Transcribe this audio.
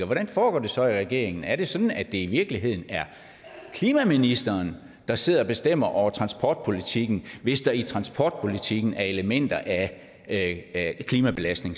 hvordan foregår det så i regeringen er det sådan at det i virkeligheden er klimaministeren der sidder og bestemmer over transportpolitikken hvis der i transportpolitikken er elementer af af klimabelastning